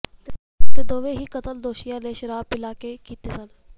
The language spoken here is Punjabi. ਤੇ ਦੋਵੇਂ ਹੀ ਕਤਲ ਦੋਸ਼ੀਆਂ ਨੇ ਸ਼ਰਾਬ ਪਿਲਾ ਕੇ ਕੀਤੇ ਸਨ